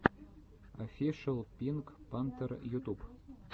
офишел пинк пантер ютуб